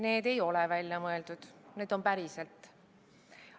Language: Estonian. Need ei ole välja mõeldud, need on päriselt.